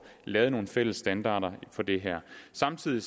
lavet nogle fælles standarder for det her samtidig